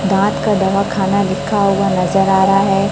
दांत का दवा खाना लिखा हुआ नजर आ रहा है।